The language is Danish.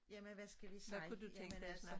Jamen hvad skal vi sige jamen altså